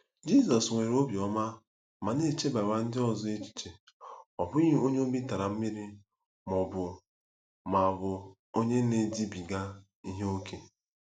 Jizọs nwere obiọma ma na-echebara ndị ọzọ echiche, ọ bụghị onye obi tara mmiri ma ọ bụ ma ọ bụ onye na-edibiga ihe ókè.